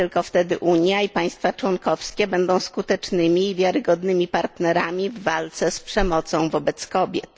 Tylko wtedy Unia i państwa członkowskie będą skutecznymi i wiarygodnymi partnerami w walce z przemocą wobec kobiet.